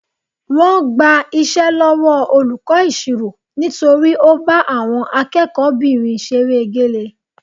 Wọ́n gba iṣẹ́ lọ́wọ́ olùkọ́ ìṣirò nítorí ó bá àwọn akẹ́kọ̀ọ́kùnrinbìnrin ṣeré egélé